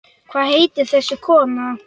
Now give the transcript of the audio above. Hvað heitir þessi kona?